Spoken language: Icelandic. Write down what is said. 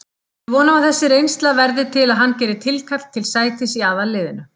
Við vonum að þessi reynsla verði til að hann geri tilkall til sætis í aðalliðinu.